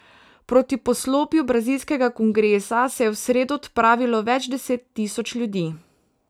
Proti poslopju brazilskega kongresa se je v sredo odpravilo več deset tisoč ljudi.